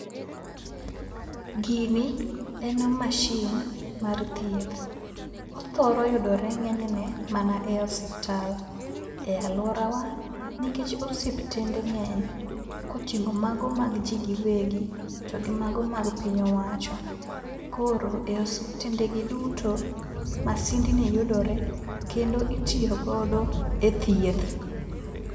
Gini en machine mar thieth. Othoro yudore ng'enyne mana e osiptal e alworawa, nikech osiptende ng'eny koting'o mago mag ji giwegi, to gi mago mag piny owacho. Koro e osiptendegi duto, masindni yudore kendo itiyo godo e thieth.